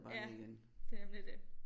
Ja det er nemlig det